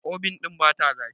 obin ɗin bata zafi